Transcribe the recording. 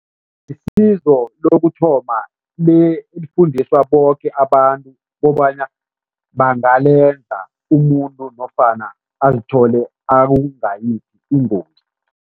Isizo lokuthoma elifundiswa boke abantu kobana bangalenza umuntu nofana azithole ingozi.